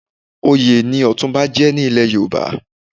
Oyè ni Ọ̀túnba jẹ́ ní ilẹ̀ Yorùbá.